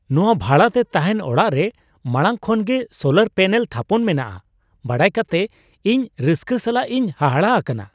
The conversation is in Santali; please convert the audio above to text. ᱱᱚᱶᱟ ᱵᱷᱟᱲᱟ ᱛᱮ ᱛᱟᱦᱮᱱ ᱚᱲᱟᱜ ᱨᱮ ᱢᱟᱲᱟᱝ ᱠᱷᱚᱱ ᱜᱮ ᱥᱳᱞᱟᱨ ᱯᱮᱱᱮᱞ ᱛᱷᱟᱯᱚᱱ ᱢᱮᱱᱟᱜᱼᱟ ᱵᱟᱲᱟᱭ ᱠᱟᱛᱮ ᱤᱧ ᱨᱟᱹᱥᱠᱟᱹ ᱥᱟᱞᱟᱜ ᱤᱧ ᱦᱟᱦᱟᱲᱟᱜ ᱟᱠᱟᱱᱟ ᱾